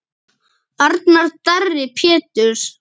Arnar Darri Péturs.